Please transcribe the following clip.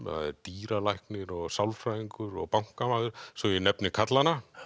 það er dýralæknir og sálfræðingur og bankamaður svo ég nefni karlana